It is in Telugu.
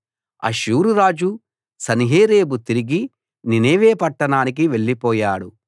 అష్షూరు రాజు సన్హెరీబు తిరిగి నీనెవె పట్టణానికి వెళ్ళిపోయాడు